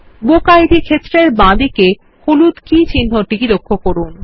বুকিড ক্ষেত্রের বাঁদিকে হলুদ কি চিহ্নটি লক্ষ্য করুন